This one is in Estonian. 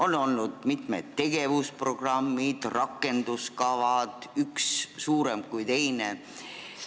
On olnud mitmed tegevusprogrammid ja rakenduskavad, üks põhjalikum kui teine.